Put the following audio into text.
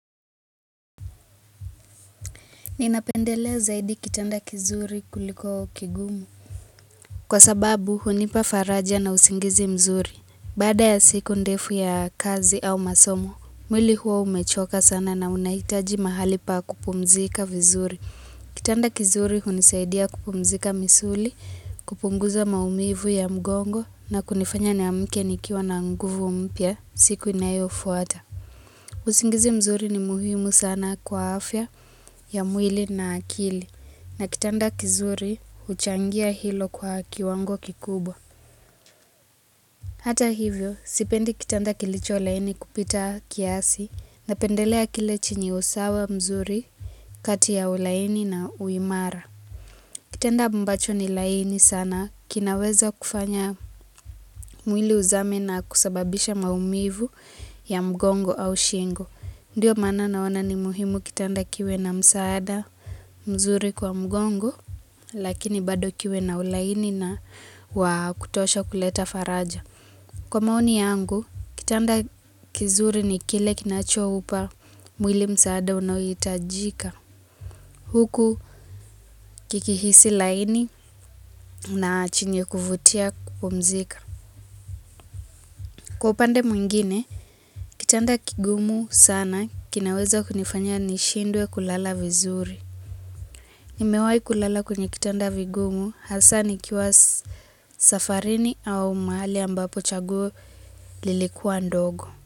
Ninapendelea zaidi kitanda kizuri kuliko kigumu Kwa sababu hunipa faraja na usingizi mzuri Baada ya siku ndefu ya kazi au masomo mwili huwa umechoka sana na unahitaji mahali pa kupumzika vizuri Kitanda kizuri hunisaidia kupumzika misuli kupunguza maumivu ya mgongo na kunifanya niamke nikiwa na nguvu mpya siku inayofuata usingizi mzuri ni muhimu sana kwa afya ya mwili na akili na kitanda kizuri huchangia hilo kwa kiwango kikubwa. Hata hivyo, sipendi kitanda kilicholaini kupita kiasi napendelea kile chenye usawa mzuri kati ya ulaini na uimara. Kitanda ambacho ni laini sana kinaweza kufanya mwili uzame na kusababisha maumivu ya mgongo au shingo. Ndiyo maana naona ni muhimu kitanda kiwe na msaada mzuri kwa mgongo, lakini bado kiwe na ulaini na wakutosha kuleta faraja. Kwa maoni yangu, kitanda kizuri ni kile kinachoupa mwili msaada unaohitajika. Huku kikihisi laini na chenye kuvutia kupumzika. Kwa upande mwingine, kitanda kigumu sana kinaweza kunifanya nishindwe kulala vizuri. Nimewai kulala kwenye kitanda vigumu, hasa nikiwa safarini au mahali ambapo chaguo lilikua ndogo.